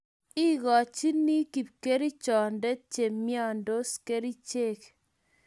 ikochini kipkerichonde che imyondos kerichek